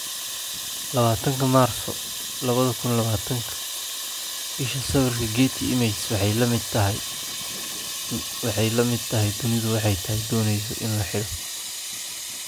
20 Maarso 2020 Isha sawirka, Getty Images Waxay la mid tahay dunidu waxay doonaysaa in la xidho.